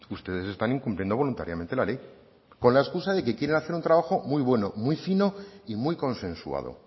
ustedes están incumpliendo voluntariamente la ley con la escusa de que quieren hacer un trabajo muy bueno muy fino y muy consensuado